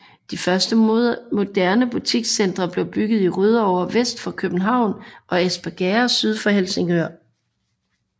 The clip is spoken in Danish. De første moderne butikscentre blev byggede i Rødovre vest for København og Espergærde syd for Helsingør